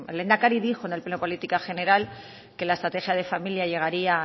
el lehendakari dijo en el pleno de política general que la estrategia de familia llegaría